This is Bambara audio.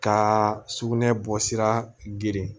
Ka sugunɛ bɔsira girin